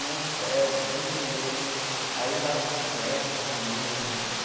Mas bem, bem... Aí andava de bicicleta também, eu lembro.